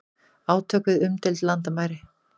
Átök við umdeild landamæri